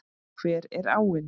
Hver er áin?